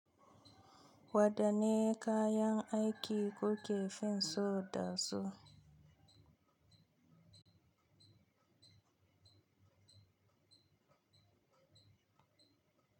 Wadanne kayan aiki kuke finsu da su?